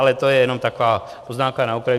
Ale to je jenom taková poznámka na okraj.